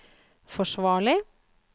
forsvarlig